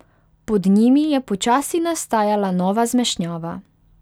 Pod njimi je počasi nastajala nova zmešnjava.